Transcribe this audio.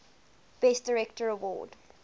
best director award